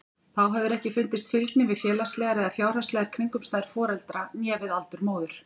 Þá hefur ekki fundist fylgni við félagslegar eða fjárhagslegar kringumstæður foreldra né við aldur móður.